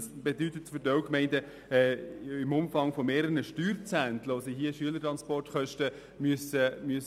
Das bedeutet für einige Gemeinde einen Umfang von mehreren Steuerzehnteln, die sie für die Kosten der Schülertransporte einsetzen müssen.